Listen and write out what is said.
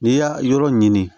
N'i y'a yɔrɔ ɲini